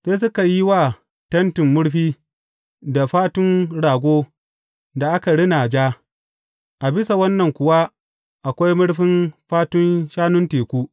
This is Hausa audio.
Sai suka yi wa tentin murfi da fatun rago da aka rina ja, a bisa wannan kuwa akwai murfin fatun shanun teku.